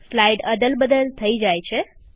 slide અદલબદલ થઇ જાય છે